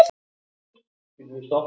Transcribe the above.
Svo hélt hann til skips.